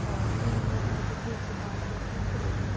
और तीन लोग हैं जो की इस दुकान के ऊपर खड़े हुए हैं |